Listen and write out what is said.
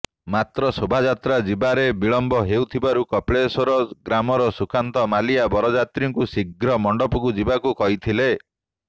ମାତ୍ର ଶୋଭାଯାତ୍ରା ଯିବାରେ ବିଳମ୍ବ ହେଉଥିବାରୁ କପିଳେଶ୍ୱର ଗ୍ରାମର ସୁକାନ୍ତ ମଲିଆ ବରଯାତ୍ରୀଙ୍କୁ ଶୀଘ୍ର ମଣ୍ଡପକୁ ଯିବାକୁ କହିଥିଲେ